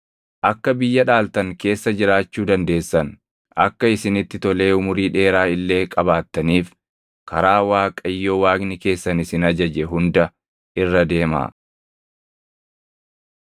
Akka biyya dhaaltan keessa jiraachuu dandeessan, akka isinitti tolee umurii dheeraa illee qabaattaniif karaa Waaqayyo Waaqni keessan isin ajaje hunda irra deemaa.